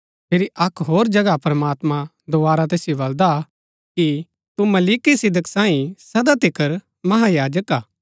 फिरी अक्क होर जगह प्रमात्मां दोवारा तैसिओ बलदा कि तू मलिकिसिदक सांईं सदा तिकर महायाजक हा